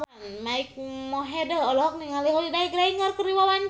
Mike Mohede olohok ningali Holliday Grainger keur diwawancara